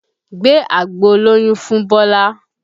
Gbé agbo olóyún fún Bọlá!